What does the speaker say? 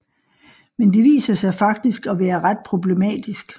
Men det viser sig faktisk at være ret problematisk